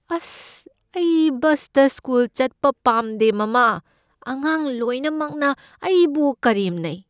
ꯑꯁ! ꯑꯩ ꯕꯁꯇ ꯁ꯭ꯀꯨꯜ ꯆꯠꯄ ꯄꯥꯝꯗꯦ, ꯃꯃꯥ꯫ ꯑꯉꯥꯡ ꯂꯣꯏꯅꯃꯛꯅ ꯑꯩꯕꯨ ꯀꯔꯦꯝꯅꯩ꯫